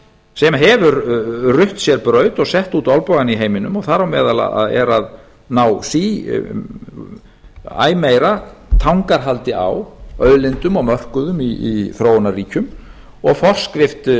hefur rutt sér braut og sett út olnbogann í heiminum og er að ná æ meira tangarhaldi á auðlindum og mörkuðum í þróunarríkjum og